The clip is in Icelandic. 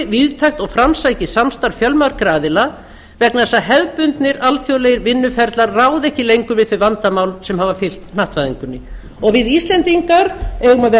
víðtækt og framsækið samstarf fjölmargra aðila vegna þess að hefðbundnir alþjóðlegir vinnuferlar ráða ekki lengur við þau vandamál sem hafa fylgt hnattvæðingunni við íslendingar eigum að vera frjálshuga borgarar nýrra hugmynda en ekki